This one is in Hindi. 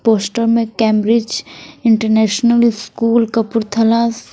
पोस्टर में कैंब्रिज इंटरनेशनल स्कूल कपूरथला--